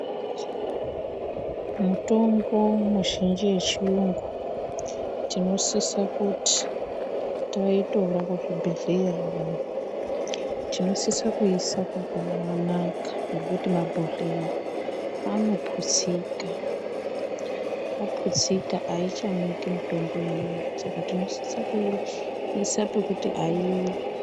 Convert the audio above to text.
Mitombo mizhinji yechiyungu tinosise kuti taitora kuchibhedhlera tinosise kuiise pakanaka ngekuti mabhodhleya anoputsika. Aputsika ayichamwiki mitombo iya inosise kuiise pakanaka pekuti aiwi.